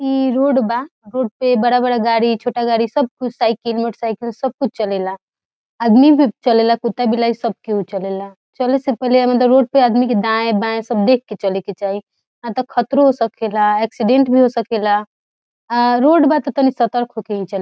इ रोड बा रोड पर बहुत बड़ा-बड़ा गाड़ी छोटा-छोटा गाड़ी सब कुछ साइकिल मोटर साइकिल सब कुछ चलेला आदमी भी चलेला कित्ता बिलाई सब केहू चलेला चले से पहले मतलब रोड पर आदमी के दाएं बाएं देख के चले के चाही ना ता खतरो हो सकेला एक्सीडेंट भी हो सकेला अ रोड बा ता तनी सतर्क होके ही --